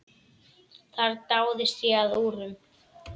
Þar dáðist ég að úrum.